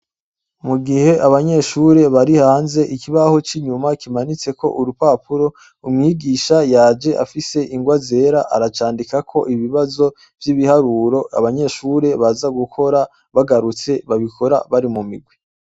Mu gihe abanyeshure bari hanze ikibaho c'inyuma kimanitseko urupapuro umwigisha yaje afise ingwa zera aracandikako ikibazo c'ibiharuro, abanyeshure baza gukora bagarutse babikora bari mu mirwi.